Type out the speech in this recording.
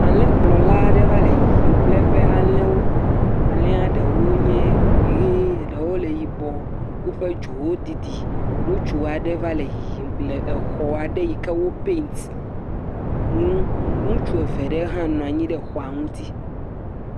ale kplɔla aɖe va le yiyim kple eƒe alewo alɛa ɖewo nye ɣie eɖewo le yibɔ wóƒe dzowo didi ŋutsuaɖe va le yiyim le exɔaɖe yike wó pɛnt ŋu ŋutsu eveɖe hã nɔnyi ɖe xɔa ŋuti